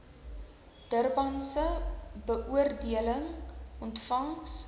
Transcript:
durbanse beoordeling ontvangs